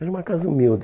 Era uma casa humilde.